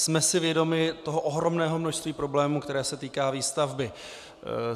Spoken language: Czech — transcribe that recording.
Jsme si vědomi toho ohromného množství problémů, které se týkají výstavby.